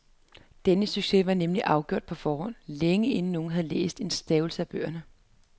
Denne succes var nemlig afgjort på forhånd, længe inden nogen havde læst en stavelse af bøgerne.